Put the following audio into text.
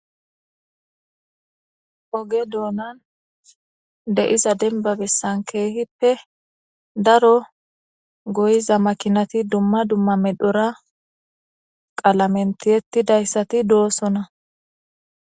oge doonan de'iza denba bessan keehippe daro goyiza makinati dumma dumma medhora qalamen tiyettidayssati doosona